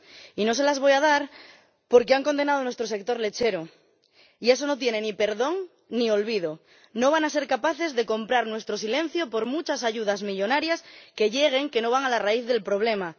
Y no se las voy a dar porque han condenado a nuestro sector lechero, y eso no merece ni perdón, ni olvido. No van a ser capaces de comprar nuestro silencio por muchas ayudas millonarias que lleguen, que no van a la raíz del problema.